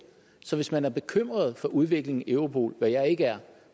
så hvis man er bekymret for udviklingen i europol hvad jeg ikke er